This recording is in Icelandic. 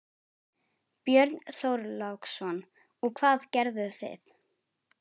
Björn Þorláksson: Og hvað gerðu þið?